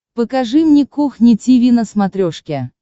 покажи мне кухня тиви на смотрешке